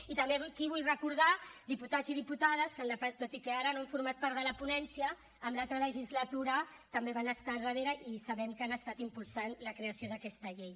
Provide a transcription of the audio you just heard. i també aquí vull recordar diputats i diputades que tot i que ara no han format part de la ponència en l’altra legislatura també van estar al darrere i sabem que han estat impulsant la creació d’aquesta llei